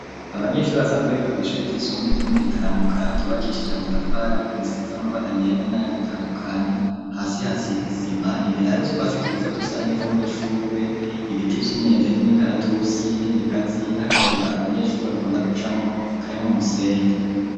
Abanyeshuri basanzwe biga kw' ishuri ry'isumbuye ryo mu gitaramuka ,ryubakishije amatafari, ariko risi z'amabara yera ,na yandatandukanye ,hasi hasiz'isima, imbere hari utwasi twiza dusa neza, n'udushugwe ,ibiti vy'imyembe, n'imikaratusi ,n'ibigazi n'akayira abanyeshuri bakunda guca mwo karimwo umusenyi.